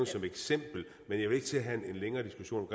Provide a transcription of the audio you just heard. som et eksempel og jeg vil ikke til at have en længere diskussion